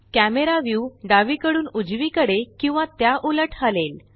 camera view डावीकडून उजवीकडे किंवा त्याउलट हलेल